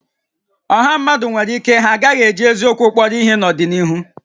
Ọ̀hà mmadụ nwèrè íké ha a gaghị eji eziokwu kpọrọ ihé n'ọdịnihu